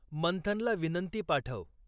मंथनला विनंती पाठव.